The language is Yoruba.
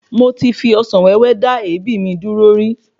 Mo ti fi Ọsàn wéwé dá èébì mi dúró rí